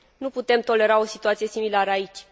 Nu putem tolera o situație similară aici.